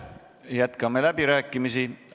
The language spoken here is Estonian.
Jätkame läbirääkimisi.